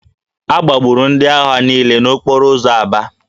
A gbagburu ndị agha niile n'okporo ụzọ Aba